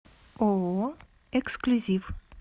ооо эксклюзив